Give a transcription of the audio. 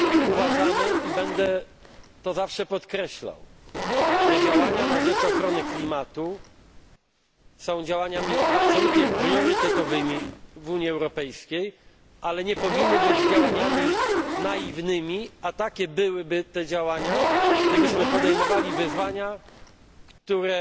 Uważamy i będę to zawsze podkreślał że działania na rzecz ochrony klimatu są działaniami absolutnie priorytetowymi w Unii Europejskiej, ale nie powinny być działaniami naiwnymi, a takie byłyby te działania, gdybyśmy podejmowali wyzwania, które